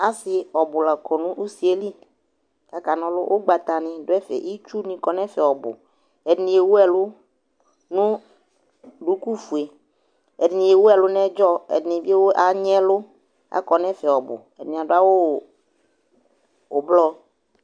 Asɩ ɔbʋ la kɔ nʋ usi yɛ li kʋ akana ɔlʋ Ʋgbatanɩ dʋ ɛfɛ, itsunɩ kɔ nʋ ɛfɛ ɔbʋ Ɛdɩnɩ ewu ɛlʋ nʋ dukufue, ɛdɩnɩ ewu ɛlʋ nʋ ɛdzɔ, ɛdɩnɩ bɩ ewu anyɩ ɛlʋ Akɔ nʋ ɛfɛ ɔbʋ, ɛdɩnɩ awʋ ʋblɔ